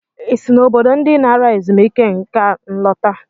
Ị si na obodo ndị nara ezumike nka alọta?